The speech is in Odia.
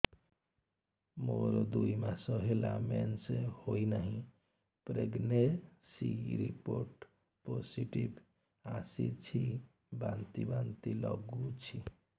ମୋର ଦୁଇ ମାସ ହେଲା ମେନ୍ସେସ ହୋଇନାହିଁ ପ୍ରେଗନେନସି ରିପୋର୍ଟ ପୋସିଟିଭ ଆସିଛି ବାନ୍ତି ବାନ୍ତି ଲଗୁଛି